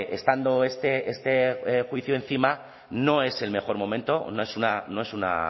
estando este juicio encima no es el mejor momento no es una